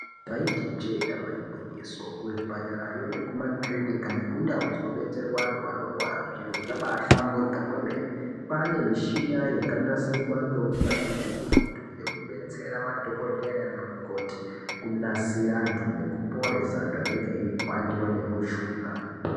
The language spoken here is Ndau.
Taiti ijee damba igwinyiso kuzvipatara yo neku makirinika nekundau dzinobatsirwa antu anorwara zviro zvaba hlamburuka kwemene kwava nemichina yakanasirwa ngeunyanzvi hukurutu yokudetsera madhokodheya nanamukoti nekunasira antu nekuporesa antu anenge papandiwa nemushuna.